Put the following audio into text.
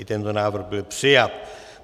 I tento návrh byl přijat.